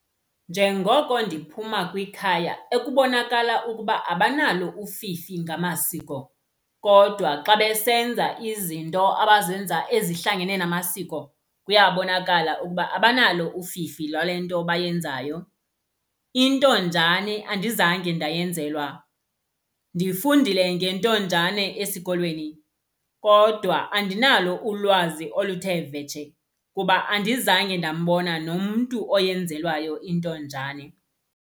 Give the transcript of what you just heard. Njengoko ndiphuma kwikhaya ekubonakala ukuba abanalo ufifi ngamasiko, kodwa xa besenza izinto abazenza ezihlangene namasiko kuyabonakala ukuba abanalo ufifi lwale nto bayenzayo. Intonjane andizange ndayenzelwa. Ndifundile ngentonjane esikolweni kodwa andinalo ulwazi oluthe vetshe kuba andizange ndambona nomntu oyenzelwayo intonjane.